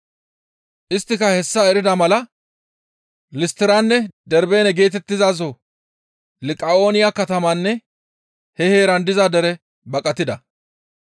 Isttika hessa erida mala Listtiranne Darbeene geetettizaso Liqa7ooniya katamatanne he heeran diza dere baqatida.